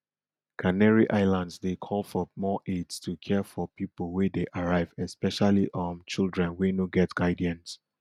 canary islands dey call for more aids to care for pipo wey dey arrive especially um children wey no get guardians